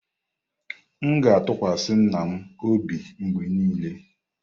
M ga-atụkwasị nna m obi mgbe niile.